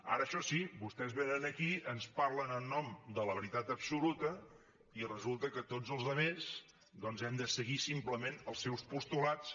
ara això sí vostès vénen aquí ens parlen en nom de la veritat absoluta i resulta que tots els altres doncs hem de seguir simplement els seus postulats